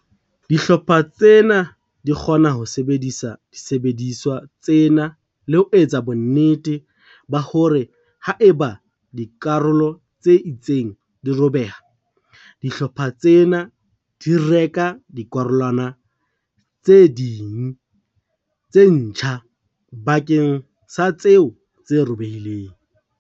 Dihlopha tsena di kgona ho sebedisa disebediswa tsena le ho etsa bonnete ba hore ha eba dikarolo tse itseng di robeha, dihlopha tsena di reka dikarolwana tse ding tse ntjha bakeng sa tseo tse robehileng.